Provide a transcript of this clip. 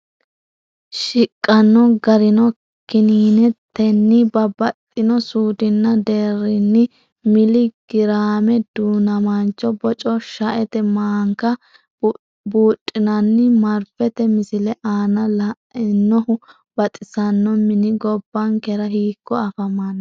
Shiqqanno garino:Kininetenni babbaxxino suudinna deerrinni mili giraame Du’namaancho boco, shaete maanka Buudhinanni, marfete, Misile aana la’inihu baxisanno mini gobbankera hiikko afaman?